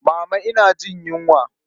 Mama ina jin yunwa.